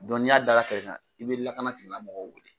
n'i y'a da a kɛrɛ kan i bɛ kɛnɛya tigilamɔgɔw wele